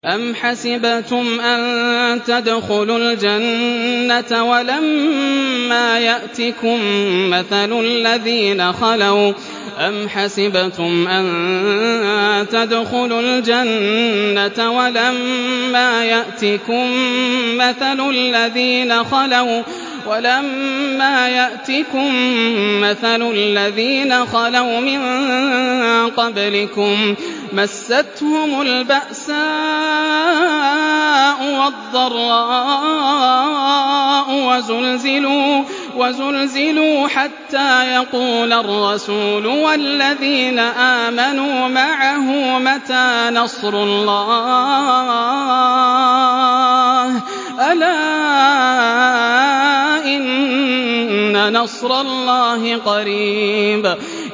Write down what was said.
أَمْ حَسِبْتُمْ أَن تَدْخُلُوا الْجَنَّةَ وَلَمَّا يَأْتِكُم مَّثَلُ الَّذِينَ خَلَوْا مِن قَبْلِكُم ۖ مَّسَّتْهُمُ الْبَأْسَاءُ وَالضَّرَّاءُ وَزُلْزِلُوا حَتَّىٰ يَقُولَ الرَّسُولُ وَالَّذِينَ آمَنُوا مَعَهُ مَتَىٰ نَصْرُ اللَّهِ ۗ أَلَا إِنَّ نَصْرَ اللَّهِ قَرِيبٌ